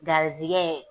Garisigɛ